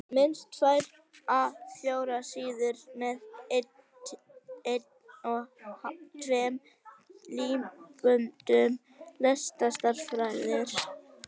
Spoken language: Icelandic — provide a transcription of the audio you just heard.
Minnst tvær A 4 síður með 1½ línubili, leturstærð